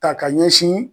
Ta ka ɲɛsin